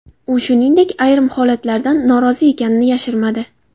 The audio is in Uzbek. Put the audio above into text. U, shuningdek, ayrim holatlardan norozi ekanini yashirmadi.